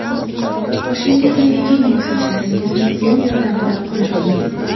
Boshingizni eging va sochlaringizni fen yordamida quriting.